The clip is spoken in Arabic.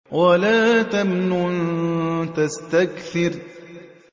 وَلَا تَمْنُن تَسْتَكْثِرُ